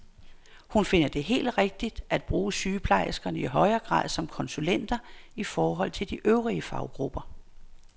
Hun finder det helt rigtigt at bruge sygeplejerskerne i højere grad som konsulenter i forhold til de øvrige faggrupper.